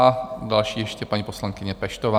A další ještě paní poslankyně Peštová.